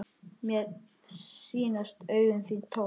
Mér sýnast augu þín tóm.